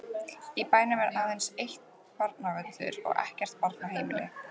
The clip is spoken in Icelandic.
Í bænum er aðeins einn barnaleikvöllur og ekkert barnaheimili.